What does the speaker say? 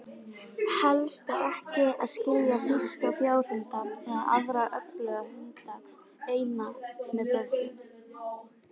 Helst á ekki að skilja þýska fjárhunda, eða aðra öfluga hunda, eina með börnum.